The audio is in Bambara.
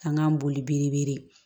An k'an boli biribele